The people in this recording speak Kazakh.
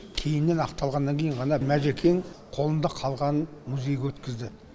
кейіннен ақталғаннан кейін ғана мәжекең қолында қалғанын музейге өткізді